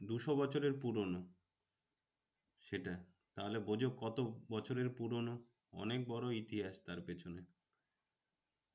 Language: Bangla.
দুশো বছরের পুরোনো। সেটা তাহলে বোঝো কত বছরের পুরোনো অনেক বড় ইতিহাস তার পেছনে।